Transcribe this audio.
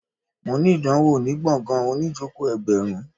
Mo ní ìdánwò ní gbọ̀ngàn oníìjòkó ẹgbẹ̀rún